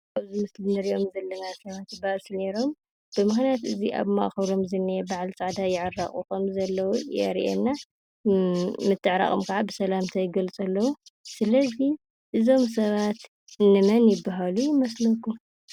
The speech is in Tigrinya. ኣብዚ ምስሊ ንሪኦም ዘለና ሰባት ባእሲ ኔሮም ብምኽንያት እዚ ኣብ ማእኸሎም ዘሎ በዓል ፃዕዳ ይዕረቑ ከምዘለዉ የሪአና ምትዕራቖም ካዓ ብሰላምታ ይገልጹ ኣለዉ። ስለዚ እዞም ሰባት እንመን ይበሃሉ ይመስለኩም?